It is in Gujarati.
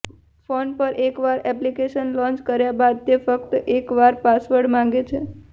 ફોન પર એકવાર એપ્લિકેશન લોન્ચ કર્યા બાદ તે ફક્ત એકવાર પાસવર્ડ માંગે છે